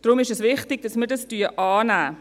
Darum ist es wichtig, dass wir dies annehmen.